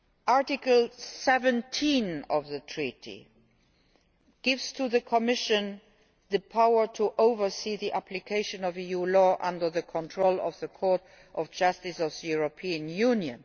Article 17 of the Treaty gives the Commission the power to oversee the application of EU law under the control of the Court of Justice of the European Union.